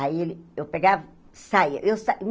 Aí ele eu pegava, saia. Eu sa uh